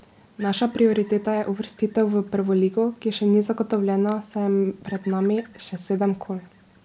Naša prioriteta je uvrstitev v prvo ligo, ki še ni zagotovljena, saj je pred nami še sedem kol.